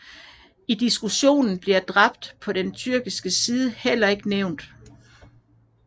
I diskussionen bliver dræbte på den tyrkiske side heller ikke nævnt